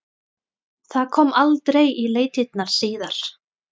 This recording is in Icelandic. Það kom aldrei í leitirnar síðar.